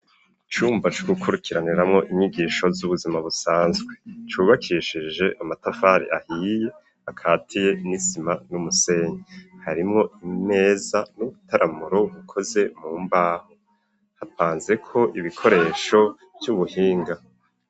Icumba co gukurikiraniramwo inyigisho, z'ubuzima busanzwe ,cubakishije amatafari ahiye, akatiye nisima n'umusenyi ,harimwo imeza n'ubutaramuro bukoze mu mbaho, hapanze ko ibikoresho vy'ubuhinga.